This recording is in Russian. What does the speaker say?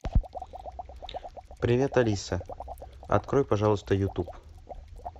привет алиса открой пожалуйста ютуб